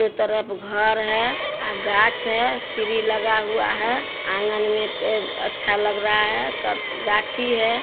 तरफ घर है आ गाछ है सिरी लगा हुआ है। आँगन मे पेड़ अच्छा लग रहा है। गा- गाछी है।